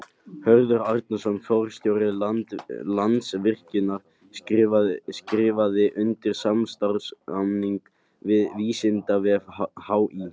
Hörður Arnarson, forstjóri Landsvirkjunar skrifaði undir samstarfssamning við Vísindavef HÍ.